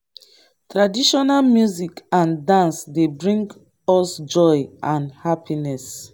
traditional music and dance dey bring us joy and happiness.